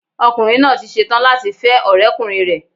Ọkùnrin náà tí setán láti fẹ́ ọ̀rẹ́ ọkùnrin rẹ̀